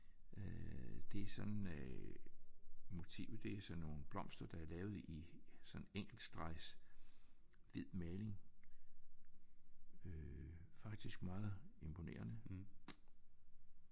Øh det er sådan øh motivet det er sådan nogle blomster der er lavet i sådan enkeltstregs hvid maling øh faktisk meget imponerende